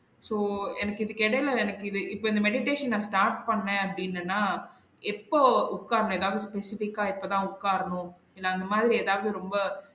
So எனக்கு இதுக்கு எடையுள எனக்கு இது இப்ப இந்த meditation நா start பன்னன் அப்டின்னின்னா எப்போ உக்கார்ந்து எதாவது specific ஆ இப்ப தான் உக்காரணும் இல்ல அந்த மாறி எதாவது ரொம்ப